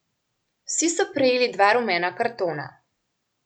Vsi so prejeli dva rumena kartona.